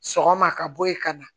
Sɔgɔma ka bɔ ye ka na